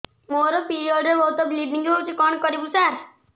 ମୋର ପିରିଅଡ଼ ରେ ବହୁତ ବ୍ଲିଡ଼ିଙ୍ଗ ହଉଚି କଣ କରିବୁ ସାର